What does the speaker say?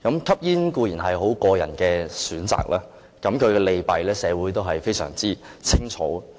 吸煙固然是個人選擇，其利弊社會都非常清楚。